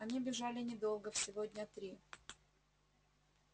они бежали недолго всего дня три